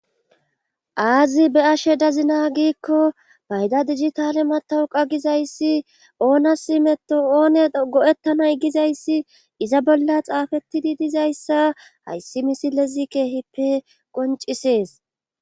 aazi be'ashe dazina giikko bayda digitale matawuqa gizayssi oonasi meto oone go7ettanay gizayssi iza bolla xaafettidi dizayssa hayssi misilezi keehippe qoncisees